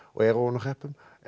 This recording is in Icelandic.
er ofan úr hreppum